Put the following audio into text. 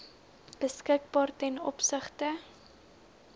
beskikbaar ten opsigte